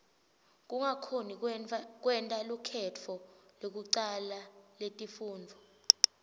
kungakhoni kwenta lukhetfo lekucala letifundvo